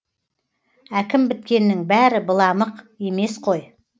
әкім біткеннің бәрі быламық емес қой